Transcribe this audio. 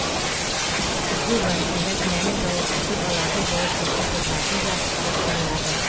тергеу барысында кінәлі жауапты тұлғаларды жауапкершілікке тарту жағы қарастырылады